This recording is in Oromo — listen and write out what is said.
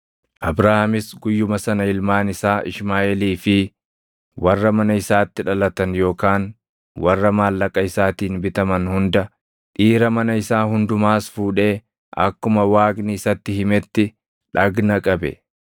Abrahaamis guyyuma sana ilmaan isaa Ishmaaʼeelii fi warra mana isaatti dhalatan yookaan warra maallaqa isaatiin bitaman hunda, dhiira mana isaa hundumaas fuudhee akkuma Waaqni isatti himetti dhagna qabe.